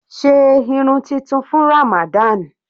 Sé irun tuntun fún Ramadan.